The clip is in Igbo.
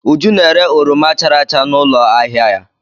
Uju na-ere oroma chara acha n'ụlọ ahịa ya.